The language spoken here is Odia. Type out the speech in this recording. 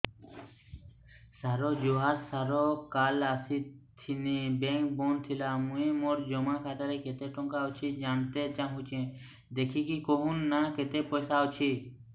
ସାର ଜୁହାର ସାର କାଲ ଆସିଥିନି ବେଙ୍କ ବନ୍ଦ ଥିଲା ମୁଇଁ ମୋର ଜମା ଖାତାରେ କେତେ ଟଙ୍କା ଅଛି ଜାଣତେ ଚାହୁଁଛେ ଦେଖିକି କହୁନ ନା କେତ ପଇସା ଅଛି